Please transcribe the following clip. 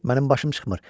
Mənim başım çıxmır.